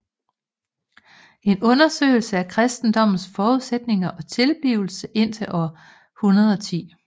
En undersøgelse af kristendommens forudsætninger og tilblivelse indtil år 110